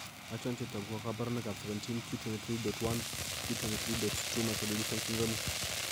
Achon chetogu ak kaborunoik ab 17q23.1q23.2 microdeletion syndromit